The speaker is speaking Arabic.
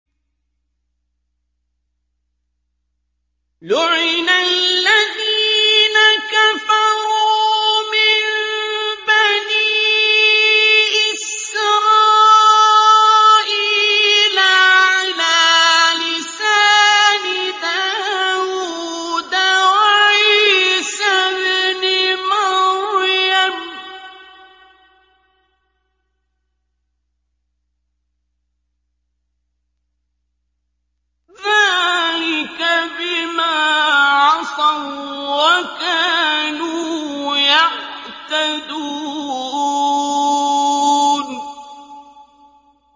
لُعِنَ الَّذِينَ كَفَرُوا مِن بَنِي إِسْرَائِيلَ عَلَىٰ لِسَانِ دَاوُودَ وَعِيسَى ابْنِ مَرْيَمَ ۚ ذَٰلِكَ بِمَا عَصَوا وَّكَانُوا يَعْتَدُونَ